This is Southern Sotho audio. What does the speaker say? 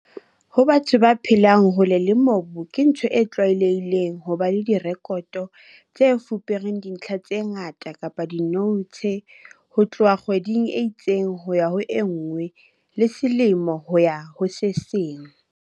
Ho batho ba phelang hole le mobu ke ntho e tlwaelehileng ho ba le diirekoto tse fupereng dintlha tse ngata kapa dinoutshe ho tloha kgweding e itseng ho ya ho e nngwe le selemo ho ya ho se seng.